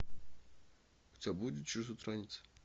у тебя будет чужестранец